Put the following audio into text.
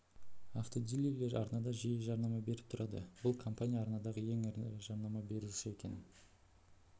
автодилерлер арнада жиі жарнама беріп тұрады ал бұл компания арнадағы ең ірі жарнама беруші екен